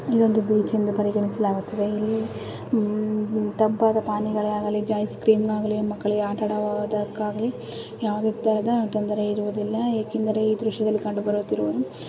ಇದೊಂದು ಬೀಚ್ ಎಂದು ಪರಿಗಣಿಸಲಾಗುತ್ತಿದೆ ಇಲ್ಲಿ ತಂಪಾದ ಪಾನಿಗಳಾಗಲಿ ಐಸ್ ಕ್ರೀಮ್ ಆಗಲಿ ಮಕ್ಕಳಿಗೆ ಆಟವಾದುವುದಕ್ಕಾಗಲಿ ಯಾವ ರೀತಿಯ ತೊಂದರೆ ಇರುವುದಿಲ್ಲ. ಏಕೆಂದರೆ ಈ ದೃಶ್ಯದಲ್ಲಿ ಕಂಡು ಬರುತ್ತಿರುವುದು--